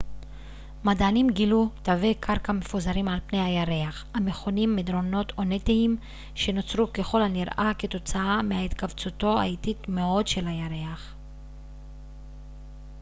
מדענים גילו תווי קרקע מפוזרים על פני הירח המכונים מדרונות אונתיים שנוצרו ככל הנראה כתוצאה מהתכווצותו האיטית מאוד של הירח